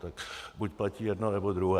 Tak buď platí jedno, nebo druhé.